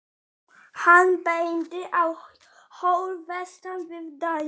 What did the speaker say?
Hann bendir á hól vestan við bæinn.